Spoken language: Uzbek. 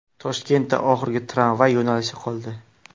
Toshkentda oxirgi tramvay yo‘nalishi qoldi.